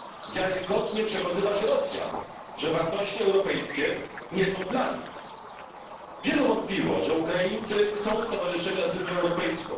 wiarygodnie przekonywać Rosjan, że wartości europejskie nie są dla nich. Wielu wątpiło, że Ukraińcy chcą stowarzyszenia z Unią Europejską.